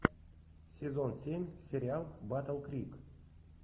сезон семь сериал батл крик